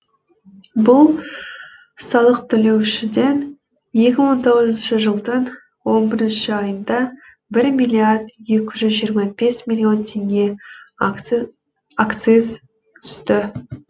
бұл салық төлеушіден екі мың он тоғызыншы жылдың он бірінші айында бір миллиард екі жүз жиырма бес миллион теңге акциз түсті